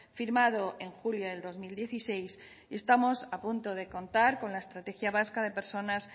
firmado en julio del dos mil dieciséis y estamos a punto de contar con la estrategia vasca de personas